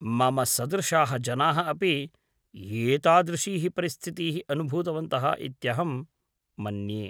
मम सदृशाः जनाः अपि एतादृशीः परिस्थितीः अनुभूतवन्तः इत्यहं मन्ये।